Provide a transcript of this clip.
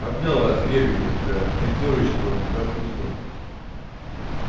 обнял вас крепко блядь пятёрочки вам до хруста